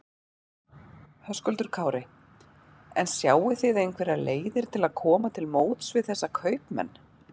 Höskuldur Kári: En sjáið þið einhverjar leiðir til að koma til móts við þessa kaupmenn?